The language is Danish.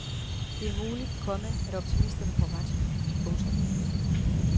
Det er muligt, komma at optimisterne får ret. punktum